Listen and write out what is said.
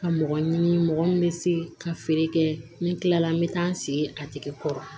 Ka mɔgɔ ɲini mɔgɔ min bɛ se ka feere kɛ ni tilala n bɛ taa n sigi a tigi kɔrɔ